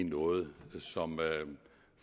noget som